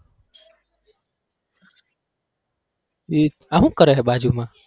ઈ આ હુ કરે બાજુમાં?